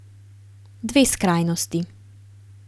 Dve skrajnosti.